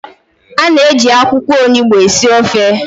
A na-eji akwụkwọ Onugbu esi ofe